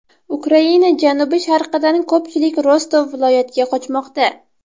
Ukraina janubi-sharqidan ko‘pchilik Rostov viloyatiga qochmoqda.